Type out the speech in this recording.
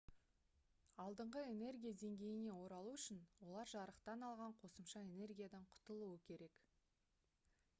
алдыңғы энергия деңгейіне оралу үшін олар жарықтан алған қосымша энергиядан құтылуы керек